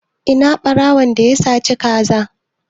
Ina ɓarawon da ya saci ka za?